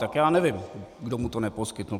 Tak já nevím, kdo mu to neposkytl.